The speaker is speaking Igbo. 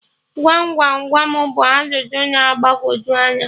Gwam gwam gwam bụ ajụjụ na-agbagoju anya